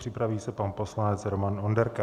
Připraví se pan poslanec Roman Onderka.